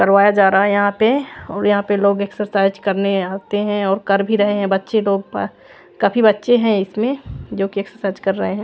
करवाया जा रहा है यहाँ पे और यहाँ पे लोग एक्सरसाइज़ करने आते है और कर भी रहे है बच्चे लोग काफी बच्चे है इसमें जो के एक्सरसाइज़ कर रहे है।